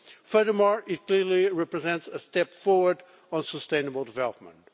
Furthermore, it clearly represents a step forward on sustainable development.